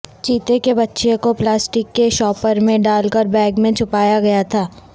چیتے کے بچے کو پلاسٹک کے شاپر میں ڈال کر بیگ میں چھپایا گیا تھا